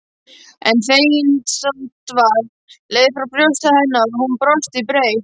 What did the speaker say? En feginsandvarp leið frá brjósti hennar og hún brosti breitt.